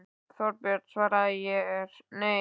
Þorbjörn: Svarið er nei?